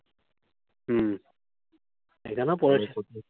হুম। এখানেও পড়েছে